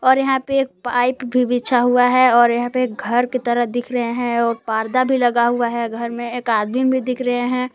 और यहां पे एक पाइप भी बिछा हुआ है और यहां पे एक घर की तरह दिख रहे है और पर्दा भी लगा हुआ है घर में एक आदमी भी दिख रहे है।